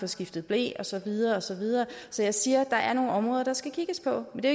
skiftet ble og så videre og så videre så jeg siger at der er nogle områder der skal kigges på men det